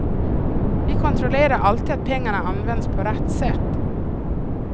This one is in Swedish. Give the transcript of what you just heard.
Vi kontrollerar alltid att pengarna används på rätt sätt.